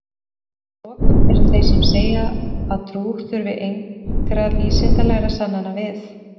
að lokum eru þeir sem segja að trú þurfi engra vísindalegra sannana við